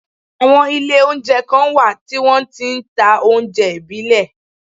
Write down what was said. Àwọn Ilé oúnjẹ kan wà tí wọn ti n ta oúnjẹ ìbílẹ̀